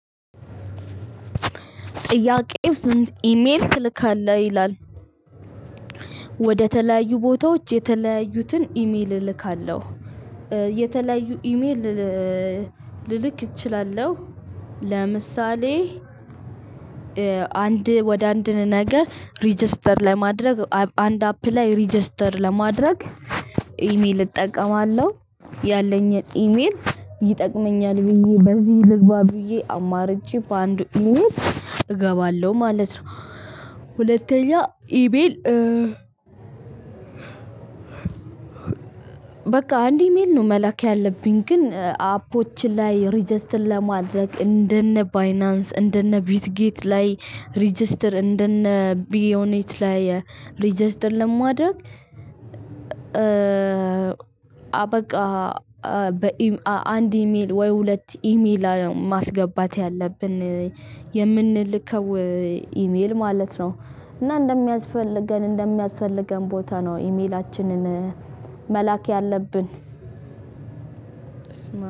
ጥያቄው ስንት ኢሜል ትልካለህ? ይላል? ወደ ተለያዩ ቦታዎች የተለያዩትን ኢሜል እልካለሁ የተለያዩ ኢሜል ልልክ እችላለሁ። ለምሳሌ አንድ ወደ አንድ ነገር ሪጅስተር ለማድረግ አንድ አፕ ላይ ሪጅስተር ለማድረግ ኢሜል እጠቀማለሁ ያለኝን ኢሜል ይጠቅመኛል ብዬ በዚህ ልግባ ብዬ አማርጬ በአንዱ እገባለሁ ማለት ነው። ሁለተኛ ኢሜል በቃ አንድ ኢሜል ነው መላከ ያለብኝ ግን አፖች ላይ ሪጀስተር ለማድረግ እንደነ ባይናንስ እንደነ ቢት ጌት ላይ ሪጀስተር እንደነ ቢዮኔት ላይ ሪጀስተር ለማድረግ። በቃ አንድ ኢሜል ወይም ሁለት ኢሜል ማስገባት ያለብን የምንልከው ኢሜል ማለት ነው። እና እንደሚያስፈልገን እንደሚያስፈልገን ቦታ ነው ኢሜላችንን መላክ ያለብን።